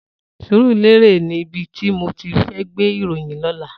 Surulere ni ibi ti mó ti fè gbé iróyìn lòlá